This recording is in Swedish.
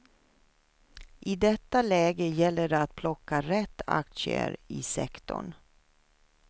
I detta läge gäller det att plocka rätt aktier i sektorn.